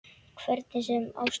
Hvernig sem á stóð.